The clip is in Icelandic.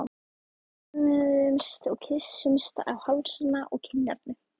Við föðmumst og kyssumst á hálsana og kinnarnar.